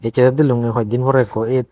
ecche te delunge hoi din porey ekko et.